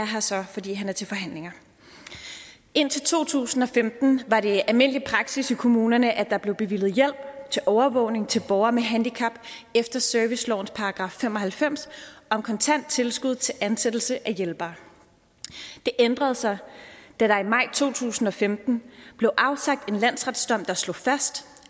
her så fordi han er til forhandlinger indtil to tusind og femten var det almindelig praksis i kommunerne at der blev bevilget hjælp til overvågning til borgere med handicap efter servicelovens § fem og halvfems om kontant tilskud til ansættelse af hjælpere det ændrede sig da der i maj to tusind og femten blev afsagt en landsretsdom der slog fast